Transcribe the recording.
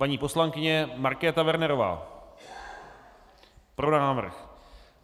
Paní poslankyně Markéta Wernerová: Pro návrh.